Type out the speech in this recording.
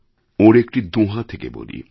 ওঁর একটি দোঁহা থেকে বলি